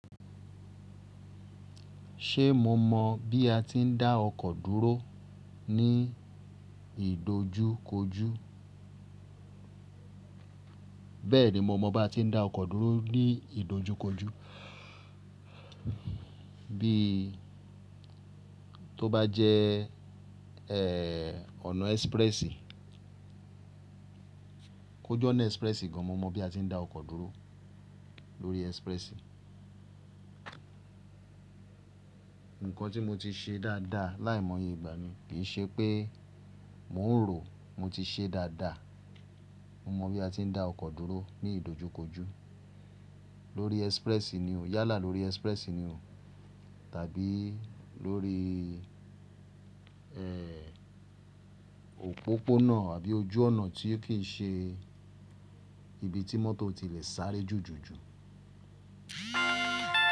Ṣe mo mọ bí a ti ń dá ọkọ̀ dúró ní ìdojúkojú? Bẹ́ẹ̀ni, mo mọ báa tí ń dá ọkọ̀ dúró ní ìdojúkojú. Bíi tó bá jẹ́ ọ̀nà express, kó j'ọ́nà express gan, mo mọ bí a ti ń dá ọkọ̀ dúró lórí express. Nǹkan tí mo ti ṣe dáadáa láìmọye ìgbà mi kì í ṣe pé mò ń ròó, mo ti ṣẹ́ dáadáa. Mo mọ bí a ti ń dá ọkọ̀ dúró ní ìdojúkojú lórí express ni o, yálà lórí express ni o tàbí lóríi òpópónà àbí ojú ọ̀nà tí ò kí ń ṣe ibi tí mọ́tò ti lè sáré jùjù jù.